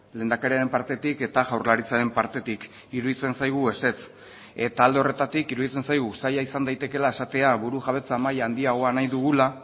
lehendakariaren partetik eta jaurlaritzaren partetik iruditzen zaigu ezetz eta alde horretatik iruditzen zaigu uztaila izan daitekeela esatea burujabetza maila handiagoa nahi dugula